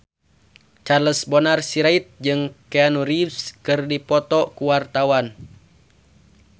Charles Bonar Sirait jeung Keanu Reeves keur dipoto ku wartawan